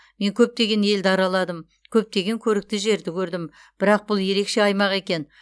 мен көптеген елді араладым көптеген көрікті жерді көрдім бірақ бұл ерекше аймақ екен